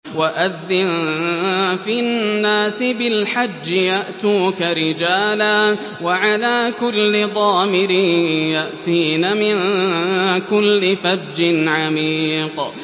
وَأَذِّن فِي النَّاسِ بِالْحَجِّ يَأْتُوكَ رِجَالًا وَعَلَىٰ كُلِّ ضَامِرٍ يَأْتِينَ مِن كُلِّ فَجٍّ عَمِيقٍ